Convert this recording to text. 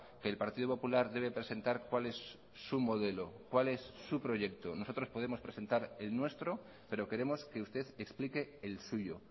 que el partido popular debe presentar cuál es su modelo cuál es su proyecto nosotros podemos presentar el nuestro pero queremos que usted explique el suyo